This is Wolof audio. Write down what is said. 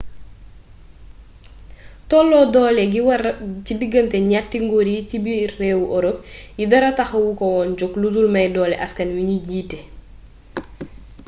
tolloo doole gi wara ci diggante ñatti nguur yi ci biiru réewi europe yi dara taxu ko woon jog ludul may doole askan wi ñu jiite